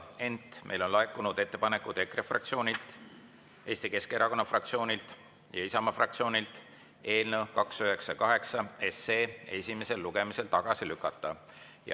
Ent meile on laekunud EKRE fraktsioonilt, Eesti Keskerakonna fraktsioonilt ja Isamaa fraktsioonilt ettepanek eelnõu 298 esimesel lugemisel tagasi lükata.